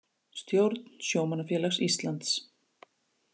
Stjórn Sjómannafélags Íslands